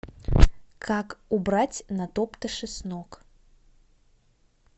как убрать натоптыши с ног